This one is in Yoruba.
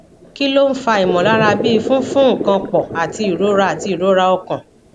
kí ló ń fa imolara bi funfun nkan po àti ìrora àti ìrora ọkàn